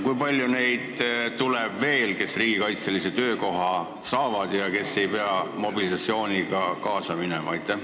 Kui palju neid veel tuleb, kes riigikaitselise töökoha saavad ega pea mobilisatsiooniga kaasa minema?